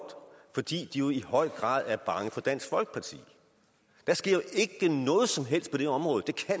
fordi de i høj grad er bange for dansk folkeparti der sker ikke noget som helst på det område det kan